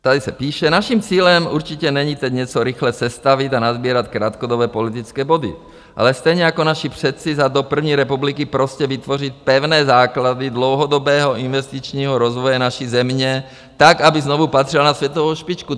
Tady se píše: Naším cílem určitě není teď něco rychle sestavit a nasbírat krátkodobé politické body, ale stejně jako naši předci za dob první republiky prostě vytvořit pevné základy dlouhodobého investičního rozvoje naší země tak, aby znovu patřila na světovou špičku.